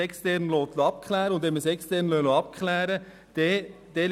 Deswegen ist es richtig, dies extern abklären zu lassen.